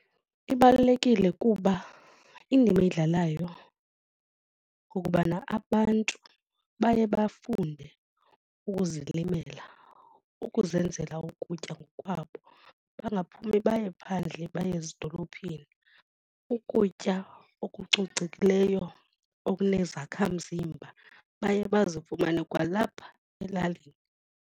Ibalulekile kuba indima eyidlalayo kukubana abantu baye bafunde ukuzilimela ukuzenzela ukutya ngokwabo bangaphumi baye phandle baye ezidolophini. Ukutya okucocekileyo okunezakhamzimba baye bazifumane kwalapha elalini.